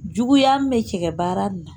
Juguya min bɛ tigɛ baara nin